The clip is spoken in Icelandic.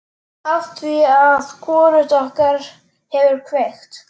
Afþvíað hvorugt okkar hefur kveikt.